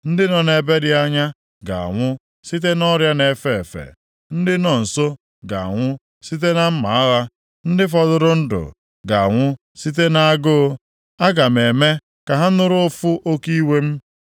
Ndị nọ nʼebe dị anya ga-anwụ site nʼọrịa na-efe efe, ndị nọ nso ga-anwụ site na mma agha, ndị fọdụrụ ndụ ga-anwụ site nʼagụụ. Aga m eme ka ha nụrụ ụfụ oke iwe m.